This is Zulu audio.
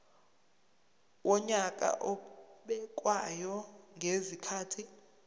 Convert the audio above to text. wonyaka obekwayo ngezikhathi